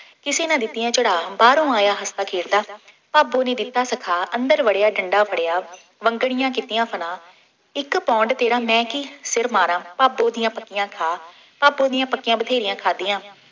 ਕਿਸੇ ਨਾ ਦਿੱਤੀਆਂ ਚੜ੍ਹਾਅ। ਬਾਹਰੋਂ ਆਇਆ ਹੱਸਦਾ ਖੇਡਦਾ, ਭਾਬੋ ਨੇ ਦਿੱਤਾ ਸਿਖਾ, ਅੰਦਰ ਵੜ੍ਹਿਆ, ਡੰਡਾ ਫੜ੍ਹਿਆ, ਵੰਗਣੀਆਂ ਕੀਤੀਆਂ ਫਨਾਹ, ਇੱਕ ਪੌਂਡ ਤੇਰਾ ਮੈਂ ਕੀ ਸਿਰ ਮਾਰਾਂ, ਭਾਬੋ ਦੀਆਂ ਪੱਕੀਆਂ ਖਾ, ਭਾਬੋ ਦੀਆਂ ਪੱਕੀਆਂ ਬਥੇਰੀਆਂ ਖਾਧੀਆਂ।